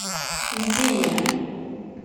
видение